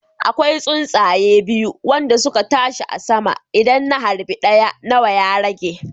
Akwai tsuntsaya biyu wande suke tashi a sama, idan na harbi ɗaya nawa ya rage